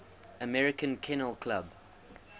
american kennel club